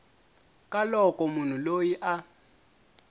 ka loko munhu loyi a